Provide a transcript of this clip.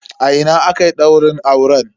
A ina akayi daurin auren?